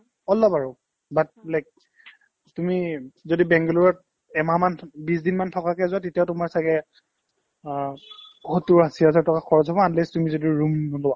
অলপ আৰু but like তুমি যদি বেংগালোৰত এমাহমান থ বিছ দিনমান থকাকে যোৱা তেতিয়াও তোমাৰ ছাগে অ সত্তোৰ-আশী হাজাৰ টকা খৰচ হ'ব unless তুমি room নোলোৱা